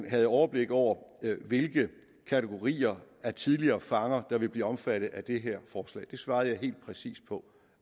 havde overblik over hvilke kategorier af tidligere fanger der vil blive omfattet af det her forslag det svarede jeg helt præcis på